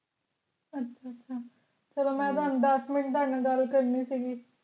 ਅੱਛਾ ਅੱਛਾ ਚਲੋ ਮੈਂ ਹਮ ਦਾਸਕ minute ਤੁਹਾਡੇ ਨਾਲ ਗੱਲ ਕਰਨੀ ਸੀਗੀ